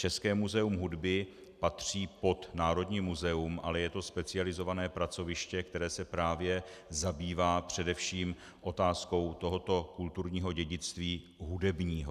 České muzeum hudby patří pod Národní muzeum, ale je to specializované pracoviště, které se právě zabývá především otázkou tohoto kulturního dědictví - hudebního.